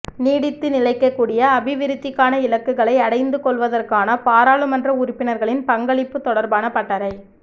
நீடித்து நிலைக்கக்கூடிய அபிவிருத்திக்கான இலக்குகளை அடைந்து கொள்வதற்கான பாராளுமன்ற உறுப்பினர்களின் பங்களிப்பு தொடர்பான பட்டறை